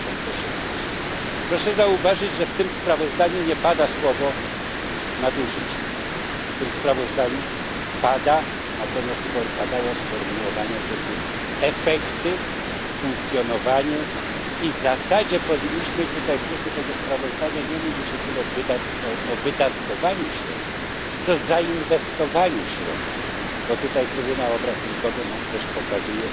2016. Proszę zauważyć, że w tym sprawozdaniu nie pada słowo nadużycia, w tym sprawozdaniu natomiast padają sformułowania typu efekty, funkcjonowanie i w zasadzie powinniśmy tutaj w duchu tego sprawozdania mówić nie tyle o wydatkowaniu środków, co zainwestowaniu środków, bo tutaj Trybunał Obrachunkowy nam też pokazuje